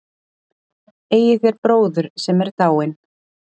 Eigið þér bróður, sem er dáinn?